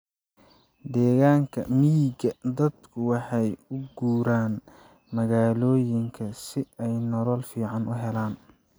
Deegaanka miyiga, dadku waxay u guuraan magaalooyinka si ay nolol fiican u helaan.